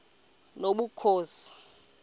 nobukhosi